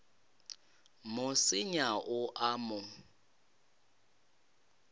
mo senya o a mo